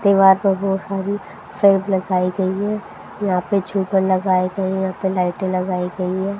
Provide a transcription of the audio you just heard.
दीवार में बहु सारी लगाई गई हैं यहां पे झूमर लगाए गए हैं यहां पे लाइटें लगाई गई हैं।